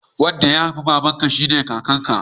Wanda ya haifi babarka shine kakan ka